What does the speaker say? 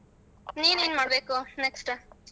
ನಿನ್ ಏನ್ ಮಾಡ್ಬೇಕು next .